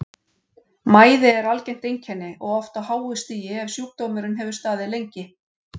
Mæði er algengt einkenni og oft á háu stigi ef sjúkdómurinn hefur staðið lengi.